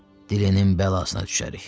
Dilinin bəlasına düşərik.